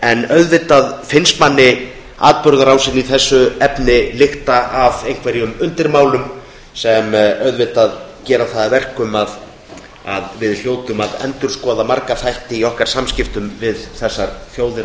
en manni finnst atburðarásin í þessu efni lykta af undirmálum sem gerir að verkum að við hljótum að endurskoða marga þætti í samskiptum okkar við þessar þjóðir á